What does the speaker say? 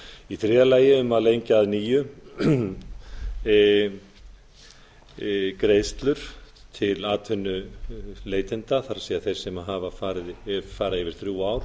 í þriðja lagi er talað um að lengja að nýju greiðslur til atvinnuleitenda það þeirra sem fara yfir þrjú ár